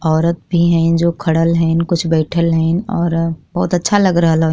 औरत भी हईन जो खरल हइन। कुछ बैईठल हइन और बहुत अच्छा लग रहल --